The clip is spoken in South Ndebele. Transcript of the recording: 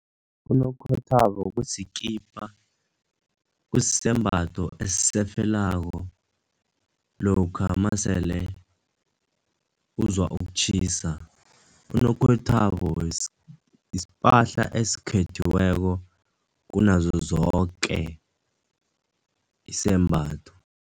Unokhethwabo kusikipa, kusembatho esisefelako lokha masele uzwa ukutjhisa. Unomkhethwabo isipahla esikhethiweko kunazozoke isembatho.